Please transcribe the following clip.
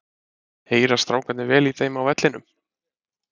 Heyra strákarnir vel í þeim á vellinum?